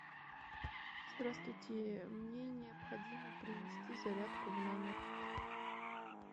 здравствуйте мне необходимо принести зарядку в номер